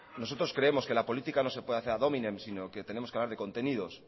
nosotros creemos que la política no se puede hacer a dominem sino que tenemos que hablar de contenidos